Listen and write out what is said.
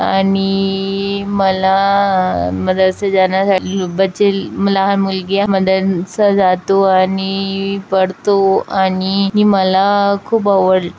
आणि मला मला अस जाण्यासा लू बच्चे लहान मुलगीया मदन स जातो आणि पडतो आणि मला खूप आवडल--